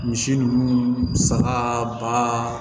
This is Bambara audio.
Misi ninnu saga ba